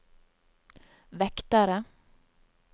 vektere